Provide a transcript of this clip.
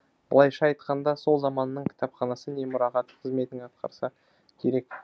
былайша айтқанда сол заманның кітапханасы не мұрағаты қызметін атқарса керек